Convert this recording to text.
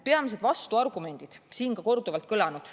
Peamised vastuargumendid on siin ka korduvalt kõlanud.